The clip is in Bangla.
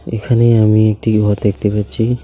এখানে আমি একটি ঘর দেখতে পাচ্ছি.